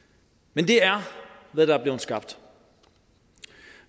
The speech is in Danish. men det er hvad der er blevet skabt